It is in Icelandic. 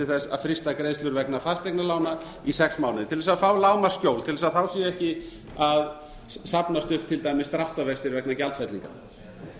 þess að fresta greiðslur vegna fasteignalána í sex mánuði til þess að fá lágmarksskjól til þess að þá sé ekki að safnast upp til dæmis dráttarvextir vegna